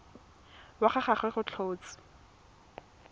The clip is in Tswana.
wa ga gagwe go tlhotswe